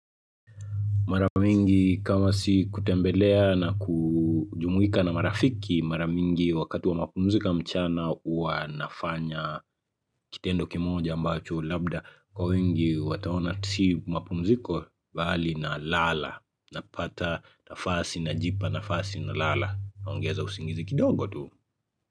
Mara mingi kama si kutembeleana kuu jumuwika na marafiki mara mingi wakati wa mapumzika mchana hua nafanya kitendo kimoja ambacho labda kwa wingi wataona si mapumziko bali na lala napata nafasi najipa nafasi na lala naongeza usingizi kidogo tu.